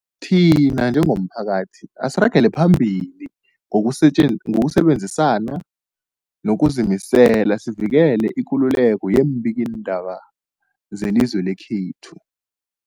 Thina njengomphakathi, asiragele phambili ngokusejen ngokusebenzisana ngokuzimisela sivikele ikululeko yeembikiindaba zelizwe lekhethu.